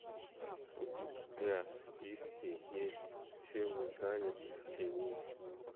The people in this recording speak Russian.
у тебя в списке есть чем мы заняты в тени